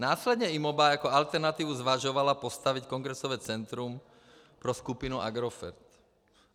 Následně IMOBA jako alternativu zvažovala postavit kongresové centrum pro skupinu Agrofert.